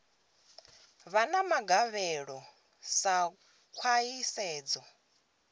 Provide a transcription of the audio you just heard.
vha na magavhelo sa khwahisedzo